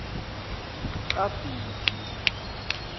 kagiji